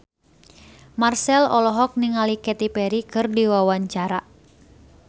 Marchell olohok ningali Katy Perry keur diwawancara